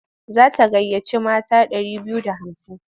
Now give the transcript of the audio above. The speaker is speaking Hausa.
Za ta gayyaci mata ɗari biyu da hamsin.